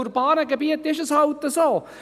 In den ruralen Gebieten ist es halt so: